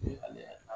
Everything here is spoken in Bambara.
ale yɛrɛ